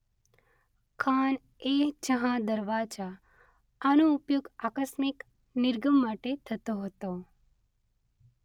ખાન-એ-જહાં દરવાજા - આનો ઉપયોગ આકસ્મિક નિર્ગમ માટે થતો હતો.